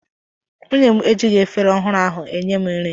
Nwunye m ejighị efere ọhụrụ ahụ enye m nri.